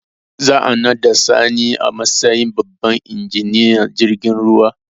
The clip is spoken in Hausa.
Za a naɗa sani a matsayin babban injiniyan jirgin ruwa